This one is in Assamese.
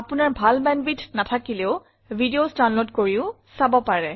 আপোনাৰ ভাল বেণ্ডৱিডথ নাথাকিলে ভিডিঅছ ডাউনলোড কৰিও চাব পাৰে